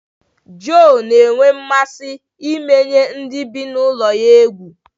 Joe na-enwe mmasị imenye ndị bi na ulo ya egwu